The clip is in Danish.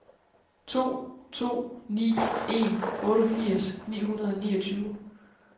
to to ni en otteogfirs ni hundrede og niogtyve